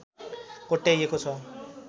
कोट्याइएको छ